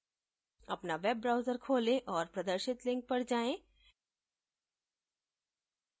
अपना web browser खोलें और प्रदर्शित link पर जाएँ